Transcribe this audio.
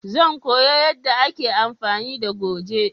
Zan koya yanda a ke amfani da goje